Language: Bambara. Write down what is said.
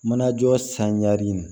Manajɔ sanni